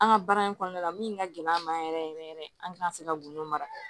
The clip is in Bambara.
An ka baara in kɔnɔna la min ka gɛlɛn an ma yɛrɛ yɛrɛ yɛrɛ an ti ka se ka gundo mara